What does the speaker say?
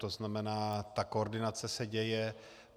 To znamená, ta koordinace se děje.